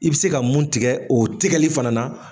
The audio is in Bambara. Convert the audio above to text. I bɛ se ka mun tigɛ o tigɛli fana na